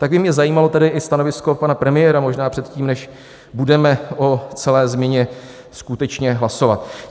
Tak by mě zajímalo tedy i stanovisko pana premiéra možná předtím, než budeme o celé změna skutečně hlasovat.